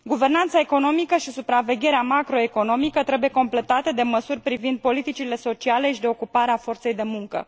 Guvernanța economică și supravegherea macroeconomică trebuie completate de măsuri privind politicile sociale și de ocupare a forței de muncă.